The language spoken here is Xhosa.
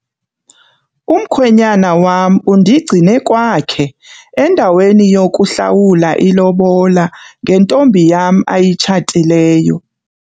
Umkhwenyana wam undigcine kwakhe endaweni yokuhlawula ilobola ngentombi yam ayitshatileyo.